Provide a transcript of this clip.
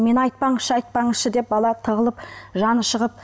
мені айтпаңызшы айтпаңызшы деп бала тығылып жаны шығып